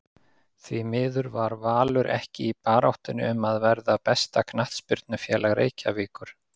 Því miður var Valur ekki í baráttunni um að verða besta knattspyrnufélag Reykjavíkur